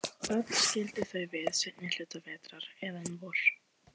Öll skildu þau við seinni hluta vetrar, eða um vor.